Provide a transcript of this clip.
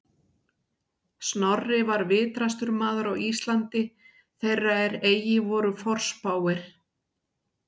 Snorri var vitrastur maður á Íslandi þeirra er eigi voru forspáir